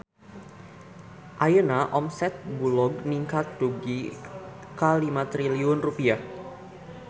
Ayeuna omset Bulog ningkat dugi ka 5 triliun rupiah